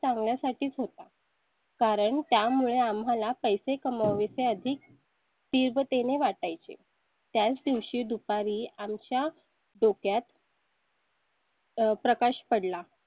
चांगल्या साठीच होतं. कारण त्यामुळे आम्हाला पैसे कमावि चे अधिक. तीव्रते ने वाटाय चे त्याच दिवशी दुपारी आमच्या डोक्यात . प्रकाश पडला.